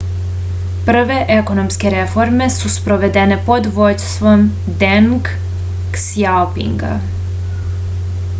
prve ekonomske reforme su sprovedene pod vođstvom deng ksjaopinga